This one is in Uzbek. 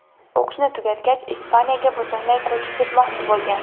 O‘qishni tugatgach Ispaniyaga butunlay ko‘chib ketmoqchi bo‘lgan.